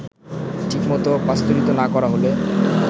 ঠিকমতো পাস্তুরিত না করা হলে